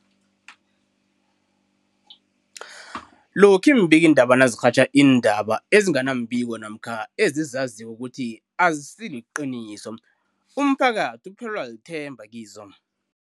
Lokhuya iimbikiindaba nazirhatjha iindaba ezinga nembiko namkha ezizaziko ukuthi azisiliqiniso, umphakathi uphelelwa lithemba kizo.